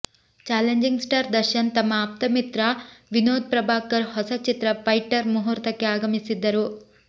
challenging star Darshan ತಮ್ಮ ಆಪ್ತಮಿತ್ರ ವಿನೋದ್ ಪ್ರಭಾಕರ್ ಹೊಸ ಚಿತ್ರ ಫೈಟರ್ ಮುಹೂರ್ತಕ್ಕೆ ಆಗಮಿಸಿದ್ದರು